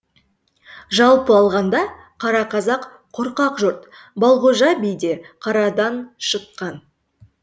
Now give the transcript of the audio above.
жалпы алғанда қара қазақ қорқақ жұрт балғожа би де қарадан шыққан